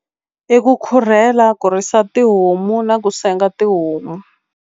I ku khurhela ku risa tihomu na ku senga tihomu.